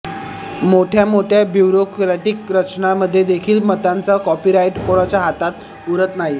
मोठ्या मोठ्या ब्युरोक्रॅटिक रचनांमध्येदेखील मतांचा कॉपीराईट कोणाच्या हातात उरत नाही